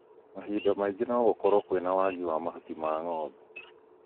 Mahinda mangĩ no gũkorwo kwĩna wagi wa mahuti ma ng'ombe